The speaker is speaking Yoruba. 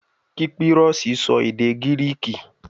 Kípírọ́sì sọ èdè Gíríìkì